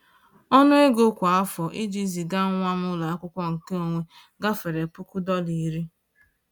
Ọnụ ego kwa afọ iji ziga nwa m ụlọ akwụkwọ nke onwe gafere puku dọla iri ($10,000)